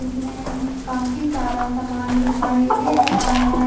इसमें काफी सारा सामान दिखाई दे रहा है।